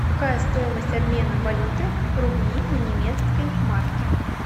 какая стоимость обмена валюты рубли на немецкие марки